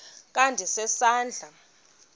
kha ndise isandla